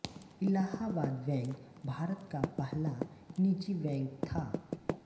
Allahabad bank Bharat का पहला निजी बैंक था